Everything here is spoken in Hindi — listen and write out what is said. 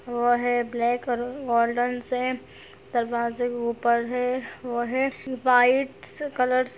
वो हैं ब्लैक और गोल्डन सेम दरवाजें के ऊपर हैं वो हैं व्हिटस कलरस --